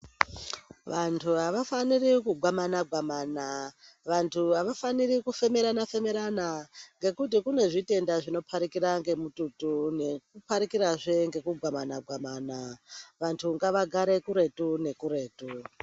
Vantu avafaniri kugwamana-gwamana, vantu avafaniri kufemerana-femerana, ngekuti kunezvitenda zvinopaikira ngemututu, zveipaikirahe ngekugwamana-gwamana. Vantu ngavagare kuretu nekuretu.